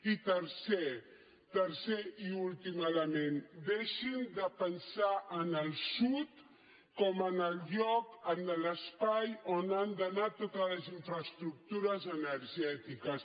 i tercer tercer i últim element deixin de pensar en el sud com en el lloc en l’espai on han d’anar totes les infraestructures energètiques